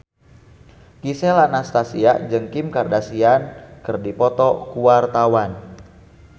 Gisel Anastasia jeung Kim Kardashian keur dipoto ku wartawan